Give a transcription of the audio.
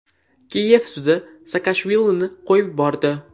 Kiyev sudi Saakashvilini qo‘yib yubordi.